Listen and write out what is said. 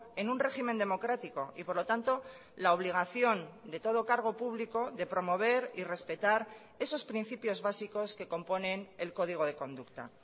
en un régimen democrático y por lo tanto la obligación de todo cargo público de promover y respetar esos principios básicos que componen el código de conducta